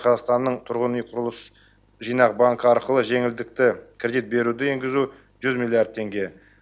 қазақстанның тұрғын үй құрылыс жинақ банкі арқылы жеңілдікті кредит беруді енгізу жүз миллиард теңге